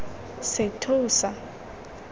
sethosa